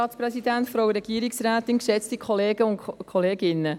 Ich kann es vorwegnehmen: